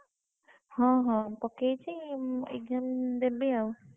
ହଁ ହଁ ପକେଇଚି exam ଦେବି ଆଉ।